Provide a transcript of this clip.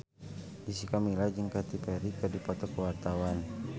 Jessica Milla jeung Katy Perry keur dipoto ku wartawan